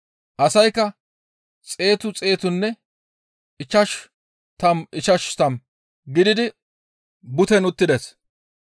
Asaykka xeetu xeetunne ichchashu tammu ichchashu tammu gididi butten uttides.